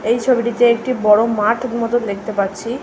এই ছবিটিতে একটি বড় মাঠ মতন দেখতে পাচ্ছি।